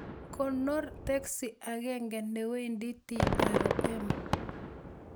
Konor teksi agenge newendi trm